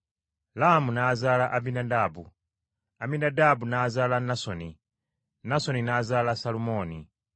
Laamu yazaala Aminadaabu, Aminadaabu n’azaala Nasoni, Nasoni n’azaala Salumooni.